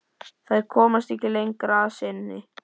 Þær komast ekki lengra að sinni.